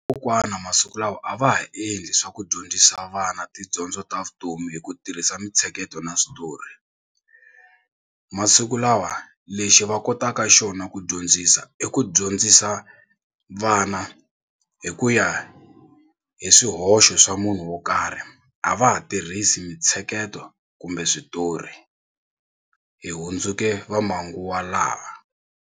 Kokwana masiku lawa a va ha endli swa ku dyondzisa vana tidyondzo ta vutomi hi ku tirhisa mitsheketo na switori. Masikulawa lexi va kotaka xona ku dyondzisa i ku dyondzisa vana hi ku ya hi swihoxo swa munhu wo karhi a va ha tirhisi mitsheketo kumbe switori hi hundzuke va manguva lawa.